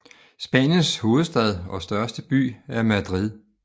Spaniens hovedstad og største by er Madrid